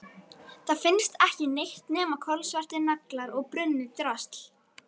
Það finnst ekki neitt nema kolsvartir naglar og brunnið drasl.